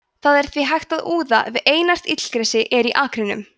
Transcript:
það er því hægt að úða ef einært illgresi er í akrinum